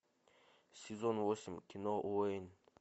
сезон восемь кино уэйн